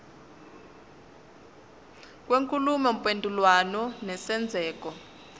kwenkulumo mpendulwano nesenzeko